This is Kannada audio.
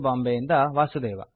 ಬಾಂಬೆಯಿಂದ ವಾಸುದೇವ